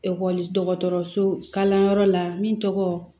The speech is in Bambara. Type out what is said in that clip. Ekɔli dɔgɔtɔrɔso kalanyɔrɔ la min tɔgɔ